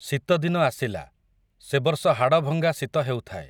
ଶୀତ ଦିନ ଆସିଲା, ସେ ବର୍ଷ ହାଡ଼ଭଙ୍ଗା ଶୀତ ହେଉଥାଏ ।